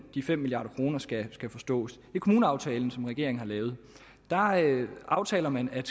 de fem milliard kroner skal skal forstås i kommuneaftalen som regeringen har lavet aftaler man at